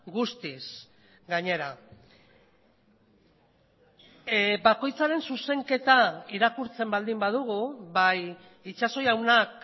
guztiz gainera bakoitzaren zuzenketa irakurtzen baldin badugu bai itxaso jaunak